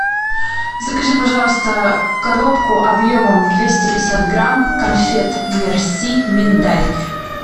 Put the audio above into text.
закажи пожалуйста коробку объемом двести пятьдесят грамм конфет мерси миндаль